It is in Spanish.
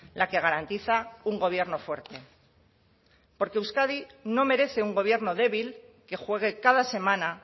la que garantiza un gobierno fuerte porque euskadi no merece un gobierno débil que juegue cada semana